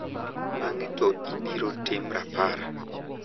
Bang`e to ibiro tim rapar.